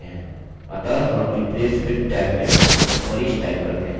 अतः हम replace with tab में manish type करते हैं